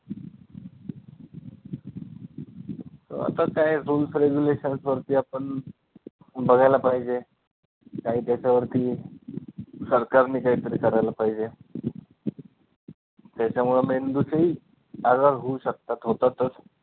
अं आता त्या zone कडे relations वरती आपण बघायला पाहिजे काही त्याच्यावरती सरकारने काही तरी करायला पाहिजे त्याच्यामुळे मेंदूचेही आजार होऊ शकतात, होतातचं